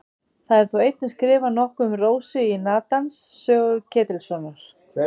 Það er þó einnig skrifað nokkuð um Rósu í Natans sögu Ketilssonar.